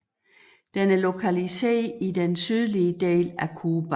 Den er lokaliseret i den sydlige del af Cuba